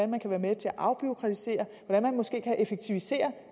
man kan være med til at afbureaukratisere hvordan man måske kan effektivisere